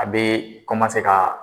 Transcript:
A be ka